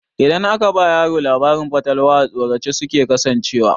Idan aka ba yaro labarin fatalwa,a tsorace suke kasancewa.